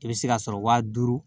I bɛ se ka sɔrɔ wa duuru